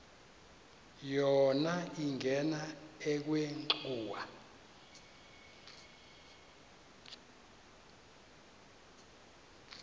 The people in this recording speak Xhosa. yona ingena ekhwenxua